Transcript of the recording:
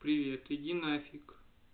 привет иди нафиг